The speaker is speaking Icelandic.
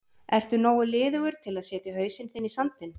Ertu nógu liðugur til að setja hausinn þinn í sandinn?